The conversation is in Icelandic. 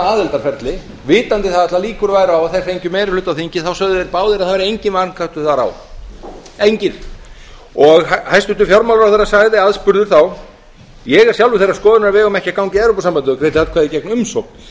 aðildarferli vitandi það að allir líkur væru á að þeir fengju meiri hluta á þingi sögðu þeir báðir að það væri enginn vankantar þar á hæstvirtur fjármálaráðherra sagði aðspurður þá ég er sjálfur þeirrar skoðunar að við eigum ekki að ganga í evrópusambandið og greiddi atkvæði gegn umsókn